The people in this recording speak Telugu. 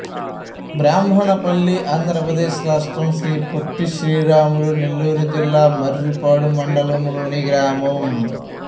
బ్రాహ్మణపల్లి ఆంధ్ర ప్రదేశ్ రాష్ట్రం శ్రీ పొట్టి శ్రీరాములు నెల్లూరు జిల్లా మర్రిపాడు మండలం లోని గ్రామం